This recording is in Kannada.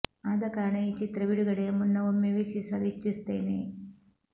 ಆದ ಕಾರಣ ಈ ಚಿತ್ರ ಬಿಡುಗಡೆಯ ಮುನ್ನ ಒಮ್ಮೆ ವೀಕ್ಷಿಸಲು ಇಚ್ಛಿಸುತ್ತೇನೆ